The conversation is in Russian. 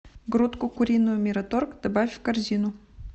грудку куриную мираторг добавь в корзину